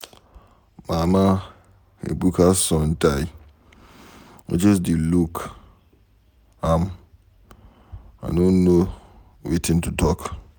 Mama Ebuka son die. I just dey look am, I no know wetin to talk